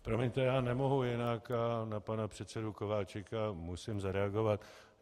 Promiňte, já nemohu jinak, na pana předsedu Kováčika musím zareagovat.